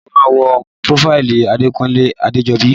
Ṣé o máa wo prófáìlì Odekunle Adejobi?